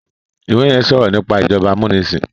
ìwé yén sọrọ nípa ìjọba amunisin